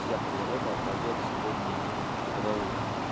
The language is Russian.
вся природа поёт сегодня гимн хвалы